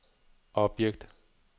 objekt